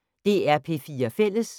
DR P4 Fælles